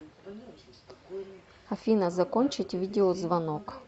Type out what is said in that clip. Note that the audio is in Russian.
афина закончить видеозвонок